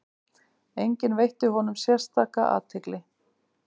Enginn veitti honum sérstaka athygli.